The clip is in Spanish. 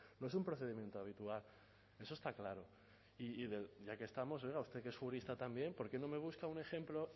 no es un procedimiento habitual eso está claro y ya que estamos oiga usted que es jurista también por qué no me busca un ejemplo